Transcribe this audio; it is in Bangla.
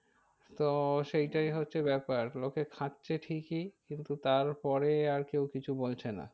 তো সেইটাই হচ্ছে ব্যাপার লোকে খাচ্ছে ঠিকই কিন্তু তার পরে আর কেউ কিছু বলছে না।